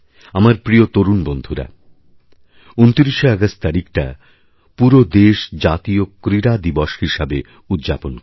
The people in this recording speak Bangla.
আমার প্রিয় তরুণবন্ধুরা ২৯শে অগাস্ট তারিখটা পুরো দেশ জাতীয় ক্রীড়া দিবস হিসাবে উদযাপন করে